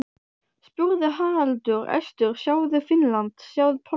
spurði Haraldur æstur, sjáðu Finnland, sjáðu Pólland.